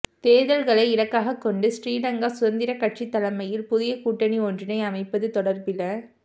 தேர்தல்களை இலக்காக கொண்டு ஸ்ரீலங்கா சுதந்திர கட்சி தலைமையில் புதிய கூட்டணி ஒன்றினை அமைப்பது தொடர்பில